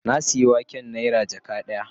Na sayi waken nera jaka daya